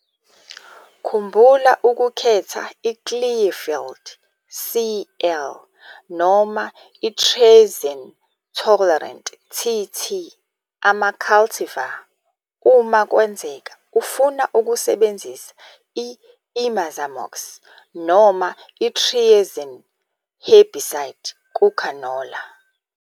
Khumbula ukukhetha i-Clearfied, CL, noma i-triazine tolerant, TT, ama-cultivar uma kwenzeka ufuna ukusebenzisa i-imazamox noma i-triazine herbicide kukhanola.